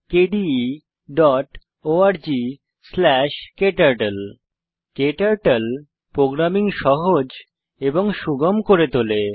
ক্টার্টল programming সহজ এবং সুগম করে তোলে